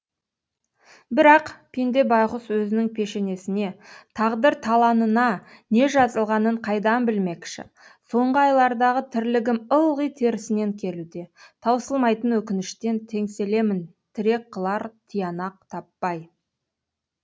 бірақ пенде байғұс өзінің пешенесіне тағдыр таланына не жазылғанын қайдан білмекші соңғы айлардағы тірлігім ылғи терісінен келуде таусылмайтын өкініштен теңселемін тірек қылар тиянақ таппай